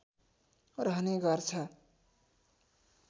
रहने गर्छ